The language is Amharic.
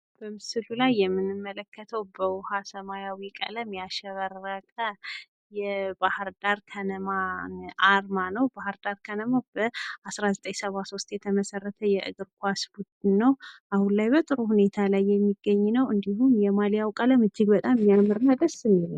በምስሉ ላይ የምንመለከተው በውሀ ሰማያዊ ቀለም ያሸበረቀ የባህር ዳር ከነማ አርማ ነው ። ባህር ዳር ከነማ በ 1973 የተመሰረተ የእግር ኳስ ቡድን ነው፤ አሁን ላይ በጥሩ ሁኔታ የሚገኝ ነው እንዲሁም የማልያው ቀለም እጅግ በጣም የማያምርና ደስ የሚል ነው።